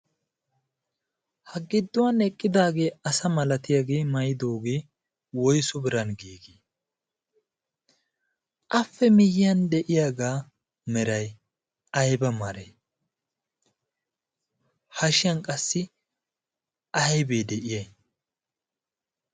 ha gidduwan eqqidaagee asa malatiyaagee mayidoogee woyssu biran giigii? Appe miyiyan de'iyaagaa meray aybba meree? hashiyan qassi aybee de'iyay?